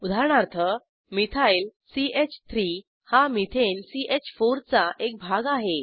उदाहरणार्थ मिथाइल च3 हा मेथेन च4 चा एक भाग आहे